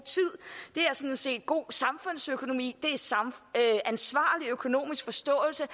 tid er set god samfundsøkonomi det er ansvarlig økonomisk forståelse